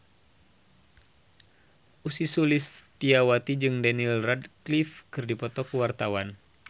Ussy Sulistyawati jeung Daniel Radcliffe keur dipoto ku wartawan